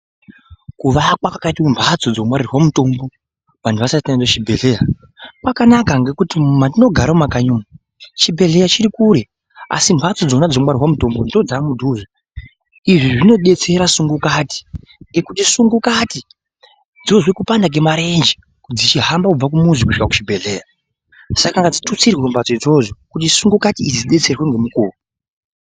Kuvakwa kwakaite mhatso dzinongwarirwa mutombo vanhu vasati vaenda kuchibhehleya kwakanaka ngekuti mwatinogara mumakanyi umwu chibhehleya chiri kure asi mhatso dzona dzinongwarirwe mutombo ndodzamudhuze izvi zvinodetsera sungukati ngekuti sungukati dzozwe kupanda kwemarenje dzichihamba kubve kumuzi kusvike kuchibhehleya saka ngadzitutsirwe mhatso dzoidzodzo kuti sungukati dzidetserwe ngemukuwo.